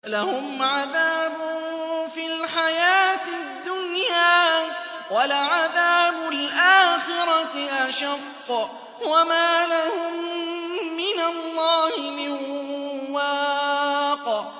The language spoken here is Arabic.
لَّهُمْ عَذَابٌ فِي الْحَيَاةِ الدُّنْيَا ۖ وَلَعَذَابُ الْآخِرَةِ أَشَقُّ ۖ وَمَا لَهُم مِّنَ اللَّهِ مِن وَاقٍ